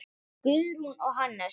Guðrún og Hannes.